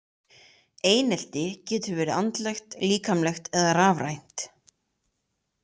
Einelti getur verið andlegt, líkamlegt eða rafrænt.